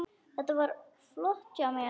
Þetta var flott hjá mér.